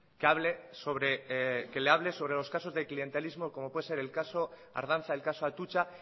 que hable sobre los casos de clientelismo como puede ser el caso ardanza el caso atutxa